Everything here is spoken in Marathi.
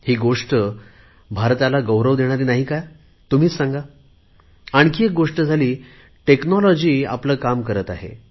ही गोष्ट भारताला गौरव देणारी नाही का तुम्हीच सांगा आणखी एक गोष्ट झाली तंत्रज्ञान आपले काम करत आहे